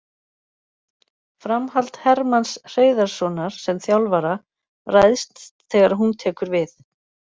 Framhald Hermanns Hreiðarssonar sem þjálfara ræðst þegar hún tekur við.